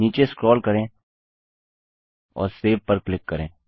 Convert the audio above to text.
नीचे स्क्रोल करें और सेव पर क्लिक करें